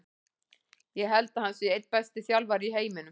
Ég held að hann sé einn besti þjálfari í heiminum.